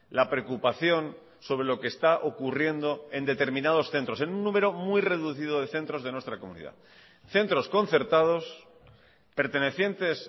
la preocupación sobre lo que está ocurriendo en determinados centros en un número muy reducido de centros de nuestra comunidad centros concertados pertenecientes